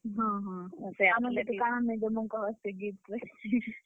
ହଁ, ହଁ ଆମେ କାଣା ନେଇଁ ଦେମୁଁ କହ ସେ gift ରେ?